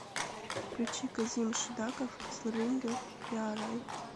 включи казим шидаков кезлеринге къарай